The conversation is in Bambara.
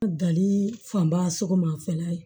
Dali fanba sɔgɔma fɛnɛ